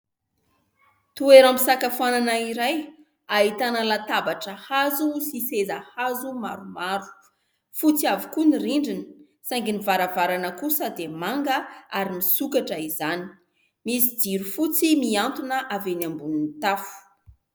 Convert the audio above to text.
Toeram-pisakafoanana iray, ahitana latabatra hazo sy seza hazo maromaro. Fotsy avokoa ny rindriny; saingy ny varavarana kosa, dia manga ary nisokatra izany. Misy jiro fotsy mihantona avy eny ambonin'ny tafo.